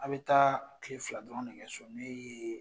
A be taa kile fila dɔrɔn de kɛ so n'o ye